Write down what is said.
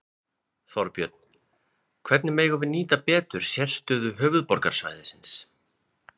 Þorbjörn: Hvernig megum við nýta betur sérstöðu höfuðborgarsvæðisins?